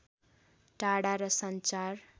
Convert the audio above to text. टाढा र सञ्चार